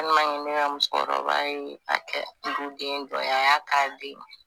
ne ka musokɔrɔba ye a kɛ duden dɔ ye a y'a k'a den